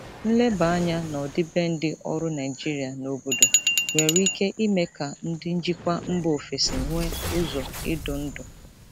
Nleba anya n'ọdịbendị ọrụ Naijiria na obodo nwere ike ime ka ndị njikwa mba ofesi nwee ụzọ idu ndú.